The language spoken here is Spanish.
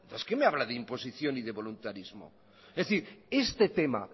entonces qué me habla de imposición y de voluntarismo es decir este tema